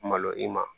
Malo i ma